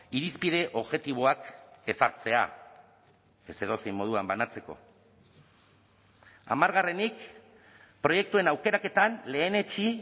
irizpide objektiboak ezartzea ez edozein moduan banatzeko hamargarrenik proiektuen aukeraketan lehenetsi